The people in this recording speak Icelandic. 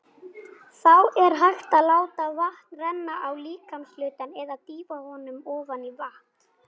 Þá er hægt að láta vatn renna á líkamshlutann eða dýfa honum ofan í vatn.